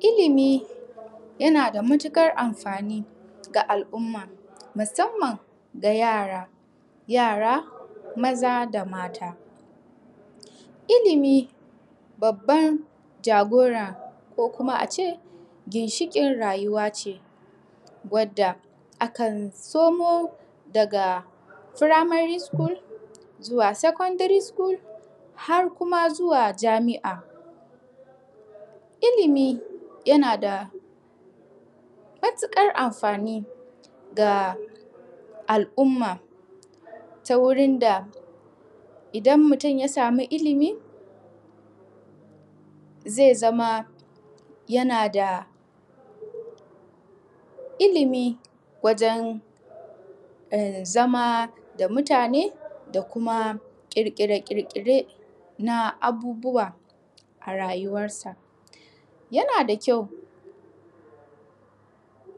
Illimi ya nada matukar amfani ga al umma musamman ga yara, yara Maza da Mata. Ilimi babban jagora ko kuma ace ginshikin rayuwa ce, wadda akan SoMo daga furamari sukul zuwa sekondiri sukul har kuma zuwa jami'a. Ilimi ya nada matukar amfani ga al umma ta wurun da idan mutun ya sami ilimi zai zama ya nada wajen zama da mutane da kuma kirkire kirkire na abubuwa a rayuwar sa. Ya nada kyau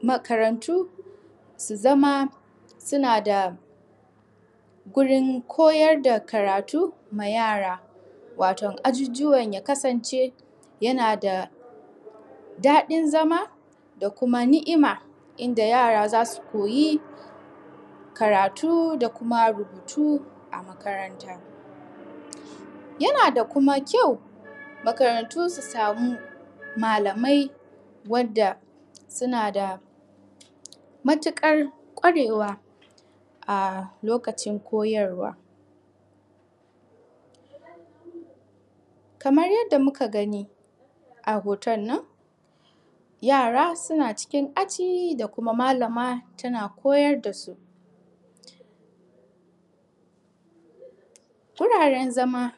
makaranti su zama su nada wajen koyar da karati ma yara watom ajujuwa ya kasan ce ya nada dadin zama da kuma ni'ima inda yara zasu koyi karati da kuma rubutu a makaranta. Ya nada Kuma kyau makarantu su samu malamai wadda su nada matukar kwarewa a lokaci koyarwa. Kamar yadda muka gani a hotonnon yara suna cikin aji da Kuma Malaman tana koyar dasu guraren zama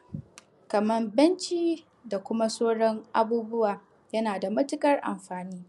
kamar benci da Kuma sauran abubuwa ya nada matukar amfani.